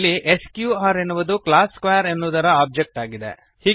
ಇಲ್ಲಿ ಸ್ಕ್ಯೂಆರ್ ಎನ್ನುವುದು class square ಎನ್ನುವುದರ ಒಬ್ಜೆಕ್ಟ್ ಆಗಿದೆ